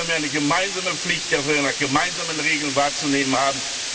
Hier haben wir eine gemeinsame Pflicht, die wir nach gemeinsamen Regeln wahrzunehmen haben.